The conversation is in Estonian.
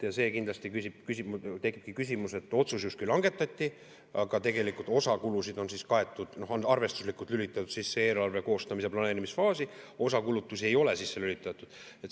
Ja kindlasti tekibki küsimus, et otsus justkui langetati, aga tegelikult osa kulusid on kaetud, on arvestuslikult lülitatud sisse eelarve koostamise planeerimisfaasi, osa kulutusi ei ole sisse lülitatud.